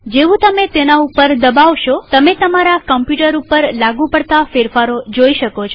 જેવું તમે તેના ઉપર દબાવશોતમે તમારા કમ્પ્યુટર પર લાગુ પડતા ફેરફારો જોઈ શકો છો